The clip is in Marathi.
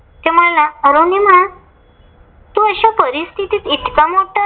अरुनिमा तू अशा परिस्थितीत इतका मोठा